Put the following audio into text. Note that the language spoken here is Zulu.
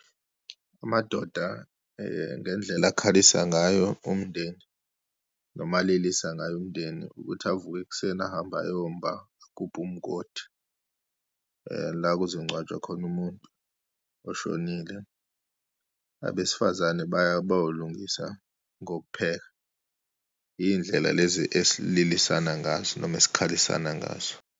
Amadoda ngendlela akhalisa ngayo umndeni, noma alilisa ngayo umndeni, ukuthi avuke ekuseni ahambe ayomba, agubhe umgodi la kuzongcwatshwa khona umuntu oshonile. Abesifazane baya bayolungisa ngokupheka. Iy'ndlela lezi esililisana ngazo noma esikhalisana ngazo.